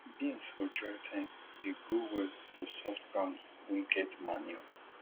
beans for dry time dey grow well for soft ground wey get manure